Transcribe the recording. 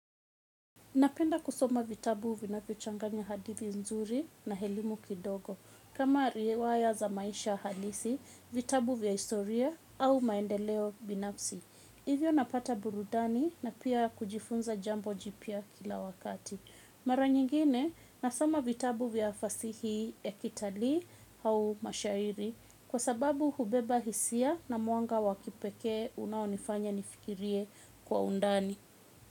Napenda kusoma vitabu vinavyochanganya hadithi nzuri na elimu kidogo. Kama riwaya za maisha halisi, vitabu vya historia au maendeleo binafsi. Hivyo napata burudani na pia kujifunza jambo jipya kila wakati. Mara nyingine, nasoma vitabu vya fasihi vya kitalii au mashairi. Kwa sababu hubeba hisia na mwanga wa kipekee unaonifanya nifikirie kwa undani.